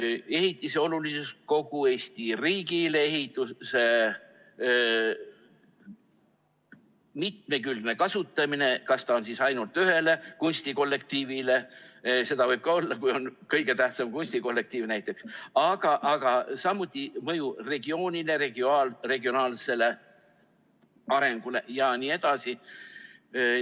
Vaadati ehitise olulisust kogu Eesti riigile, ehitise mitmekülgse kasutamise võimalust, et kas ta on ainult ühele kunstikollektiivile , aga samuti mõju regioonile, regionaalsele arengule jne.